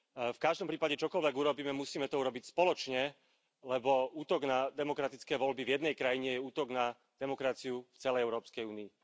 V každom prípade, čokoľvek urobíme, musíme to urobiť spoločne, lebo útok na demokratické voľby v jednej krajine je útok na demokraciu v celej Európskej únii.